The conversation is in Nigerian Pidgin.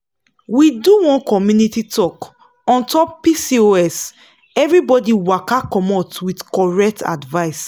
we do one community talk on top pcoseverybody waka commot with correct advice.